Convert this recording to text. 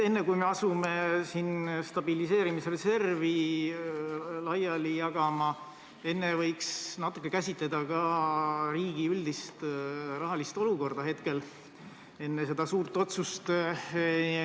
Enne, kui asume siin stabiliseerimisreservi laiali jagama, võiksime natuke käsitleda ka riigi üldist rahalist olukorda praegusel hetkel, enne selle suure otsuse tegemist.